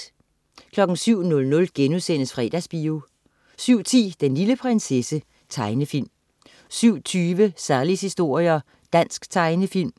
07.00 Fredagsbio* 07.10 Den lille prinsesse. Tegnefilm 07.20 Sallies historier. Dansk tegnefilm